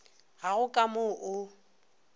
ga go ka mo o